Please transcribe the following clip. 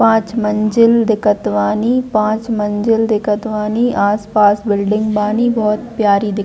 पांच मंज़िल दिखत बानी पांच मंज़िल दिखत बानी। आस-पास बिल्डिंग बानी। बोहत प्यारी दिख--